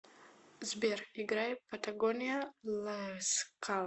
сбер играй патагония ласкала